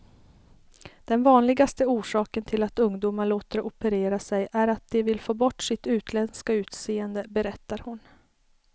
Den vanligaste orsaken till att ungdomar låter operera sig är att de vill få bort sitt utländska utseende, berättar hon.